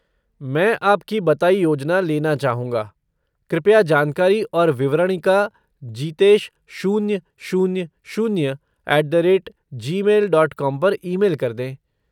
मैं आपकी बताई योजना लेना चाहूँगा, कृपया जानकारी और विवरणिका जीतेश शून्य शून्य शून्य at the rate Gmail dot com पर ईमेल कर दें।